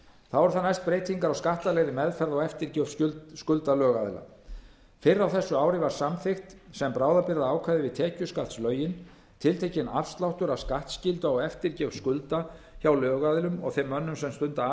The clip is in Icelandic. þá eru næst breytingar á skattalegri meðferð á eftirgjöf skulda lögaðila fyrr á þessu ári var samþykkt sem bráðabirgðaákvæði við tekjuskattslögin tiltekinn afsláttur af skattskyldu á eftirgjöf skulda hjá lögaðilum og þeim mönnum sem stunda